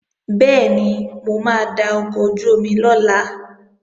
Bẹ́ẹ̀ni, mo máa da ọkọ̀ ojú-omi lọ̀la